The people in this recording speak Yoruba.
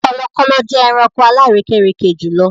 Kọlọkọlọ jẹ ẹ̀ràṇkò alàrèkèrèkè jùlọ̀.